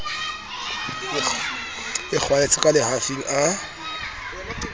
e kgwaetse ka lehafing a